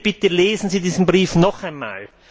Bitte lesen Sie diesen Brief noch einmal!